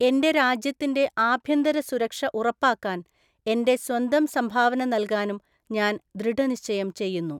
എന്റെ രാജ്യത്തിന്റെ ആഭ്യന്തര സുരക്ഷ ഉറപ്പാക്കാൻ എന്റെ സ്വന്തം സംഭാവന നൽകാനും ഞാൻ ദൃഢനിശ്ചയം ചെയ്യുന്നു.